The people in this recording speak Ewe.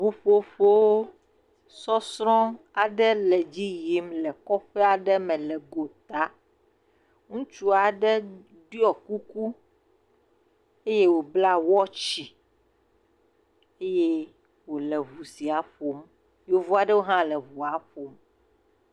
Ŋutsu aɖe kple srɔ̃ wodo awu ɖeka eye wo le enu ɖum nuɖuɖu le kplɔ dzi. Eviwo hã le wo gbɔ. Zikpui hã le woƒe megbe. Atikutsetse hã le woƒe axa eye wo le tsinonu ɖe asi.